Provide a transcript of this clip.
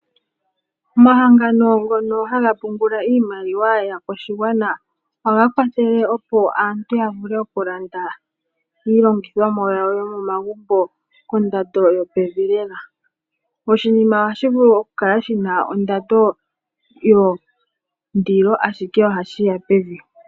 Omahangano ngono haga pungula iimaliwa yaakwashigwana ohaga kwathele, opo aantu ya vule okulanda iilongithomwa yawo yo momagumbo kondando yo pevi lela. Oshinima ohashi vulu okukala shina ondando yondilo ashike ohashi keya pevi.